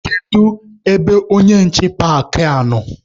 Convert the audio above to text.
Kedu ebe onye nche paakị a nọ?